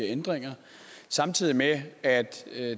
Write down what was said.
her ændringer samtidig med at